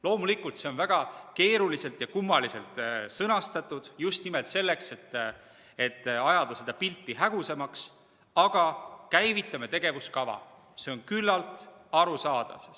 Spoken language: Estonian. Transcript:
Loomulikult, see on väga keeruliselt ja kummaliselt sõnastatud, just nimelt selleks, et ajada pilti hägusamaks, aga "käivitame tegevuskava" on küllalt arusaadav.